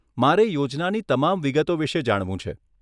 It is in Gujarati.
મારે યોજનાની તમામ વિગતો વિષે જાણવું છે.